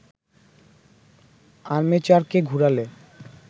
আর্মেচারকে ঘুরালে